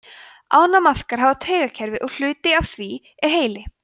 ánamaðkar hafa taugakerfi og hluti af því er heili